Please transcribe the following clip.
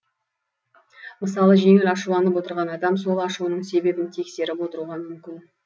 мысалы жеңіл ашуланып отырған адам сол ашуының себебін тексеріп отыруға мүмкін